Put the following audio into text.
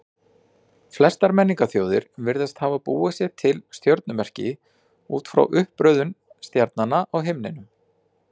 Flestar menningarþjóðir virðast hafa búið sér til stjörnumerki út frá uppröðun stjarnanna á himninum.